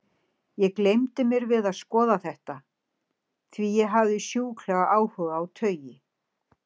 Ég gleymdi mér við að skoða þetta, því ég hafði sjúklegan áhuga á taui.